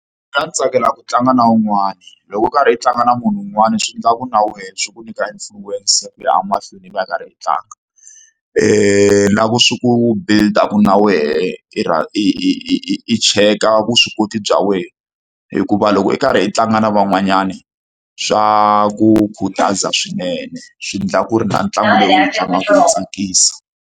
Mina ndzi tsakela ku tlanga na wun'wana. Loko u karhi u tlanga na munhu wun'wani swi endla ku na wehe swi ku nyika influence ku ya a mahlweni i va i karhi u tlanga. Na ku swi ku build-a ku na wena, i i i i i i cheka vuswikoti bya wena. Hikuva loko i karhi i tlanga na van'wanyani, swa ku khutaza swinene. Swi endla ku ri na ntlangu lowu u wu tlangaka wu tsakisa.